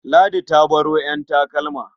Ladi ta baro ƴan takalma.